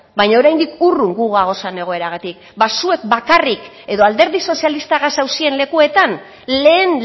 baina oraindik urrun gu gagozan egoeragatik ba zuek bakarrik edo alderdi sozialistagaz zauzien lekuetan lehen